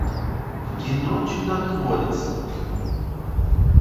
кино чудотворец